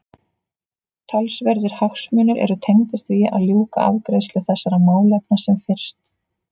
Talsverðir hagsmunir eru tengdir því að ljúka afgreiðslu þessara málefna sem fyrst.